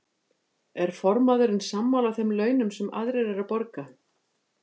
Er formaðurinn sammála þeim launum sem aðrir eru að borga?